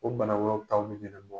O bana wɛrɛw tabili de be bɔ